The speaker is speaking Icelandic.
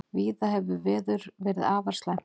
Víða hefur veður verið afar slæmt